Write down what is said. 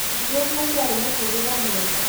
mũirĩtu ũcio arĩ mũtũrĩre mwega